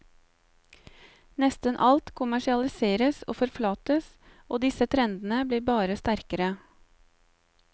Nesten alt kommersialiseres og forflates, og disse trendene blir bare sterkere.